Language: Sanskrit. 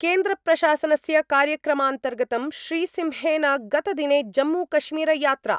केन्द्रप्रशासनस्य कार्यक्रमान्तर्गतं श्रीसिंहेन गतदिने जम्मूकश्मीरयात्रा